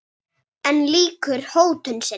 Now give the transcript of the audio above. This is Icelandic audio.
En lýkur ekki hótun sinni.